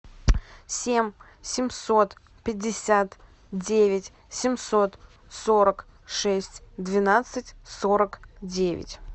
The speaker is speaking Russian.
семь семьсот пятьдесят девять семьсот сорок шесть двенадцать сорок девять